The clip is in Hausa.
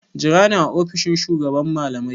Jira ni a ofishin shugaban malamai!